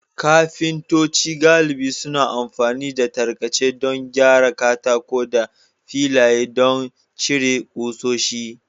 Kafintoci galibi suna amfani da tarkace don gyara katako da filaye don cire ƙusoshi.